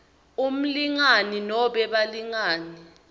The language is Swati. umlingani nobe balingani